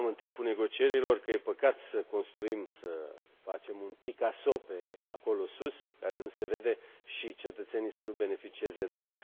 Spuneam, în timpul negocierilor, că e păcat să construim un Picasso acolo, sus, care nu se vede, și cetățenii să nu beneficieze de el.